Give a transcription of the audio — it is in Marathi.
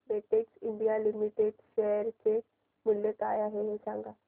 बेटेक्स इंडिया लिमिटेड शेअर चे मूल्य काय आहे हे सांगा